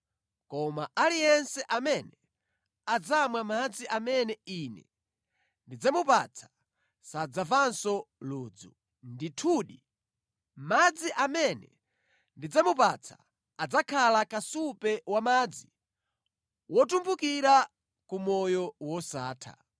koma aliyense amene adzamwa madzi amene Ine ndidzamupatsa sadzamvanso ludzu. Ndithudi, madzi amene ndidzamupatsa adzakhala kasupe wamadzi wotumphukira ku moyo wosatha.”